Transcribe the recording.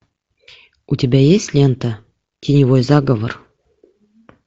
у тебя есть лента теневой заговор